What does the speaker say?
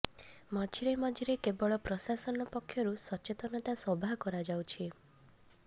ମଝିରେ ମଝିରେ କେବଳ ପ୍ରଶାସନ ପକ୍ଷରୁ ସଚେତନତା ସଭା କରାଯାଉଛି